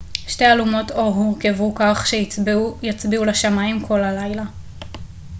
שתי אלומות אור הורכבו כך שיצביעו לשמיים כל הלילה